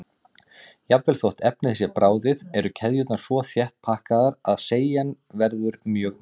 Jafnvel þótt efnið sé bráðið eru keðjurnar svo þétt pakkaðar að seigjan verður mjög mikil.